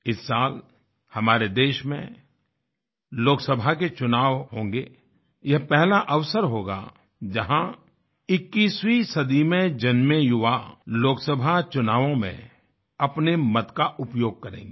इस साल हमारे देश में लोकसभा के चुनाव होंगे यह पहला अवसर होगा जहाँ 21वीं सदी में जन्मे युवा लोकसभा चुनावों में अपने मत का उपयोग करेंगे